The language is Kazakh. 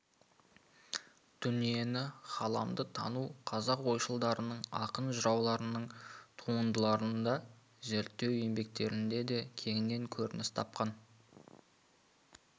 дүниені ғаламды тану қазақ ойшылдарынының ақын-жырауларының туындыларында зерттеу еңбектерінде де кеңінен көрініс тапқан